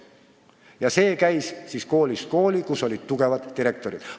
Ja see käis koolist kooli – seal, kus olid tugevad direktorid.